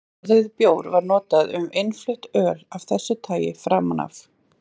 Orðið bjór var notað um innflutt öl af þessu tagi framan af.